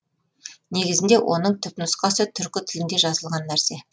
негізінде оның түп нұсқасы түркі тілінде жазылған нәрсе